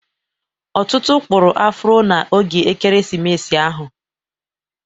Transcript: Ọtụtụ kpụrụ afro na oge Ekeresimesi ahụ.